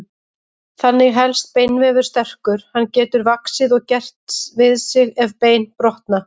Þannig helst beinvefur sterkur, hann getur vaxið og gert við sig ef bein brotna.